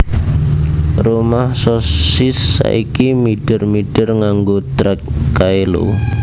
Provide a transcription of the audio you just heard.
Rumah Sosis saiki mider mider nganggo trek kae lho